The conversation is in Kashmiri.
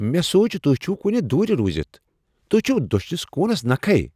مےٚ سوٗچ تُہۍ چھِو کُنہِ دوٗر روٗزِتھ توہہِ چھِوٕ دٔچھنِس کوٗنَس نكھے۔